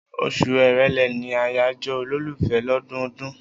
Oṣù Èrèlé ni àyájọ́ olólùfẹ́ lọ́dọọdún.